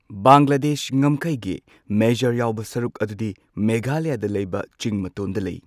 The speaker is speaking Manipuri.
ꯕꯪꯒ꯭ꯂꯥꯗꯦꯁ ꯉꯝꯈꯩꯒꯤ ꯃꯦꯖꯥꯔ ꯌꯥꯎꯕ ꯁꯔꯨꯛ ꯑꯗꯨꯗꯤ ꯃꯦꯘꯥꯂꯌꯥꯗ ꯂꯩꯕ ꯆꯤꯡ ꯃꯇꯣꯟꯗ ꯂꯩ꯫